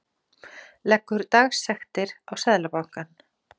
Leggur dagsektir á Seðlabankann